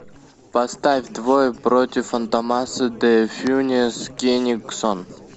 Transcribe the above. поставь двое против фантомаса де фюнес кенигсон